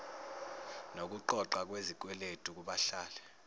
nokuqoqwa kwezikweletu kubahlali